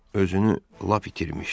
Özünü lap itirmişdi.